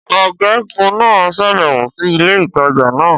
Ọgagun naa ṣabẹwo si ile-itaja naa